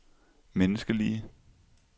menneskelige